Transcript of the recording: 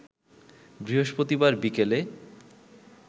বৃহস্পতিবার বিকেলে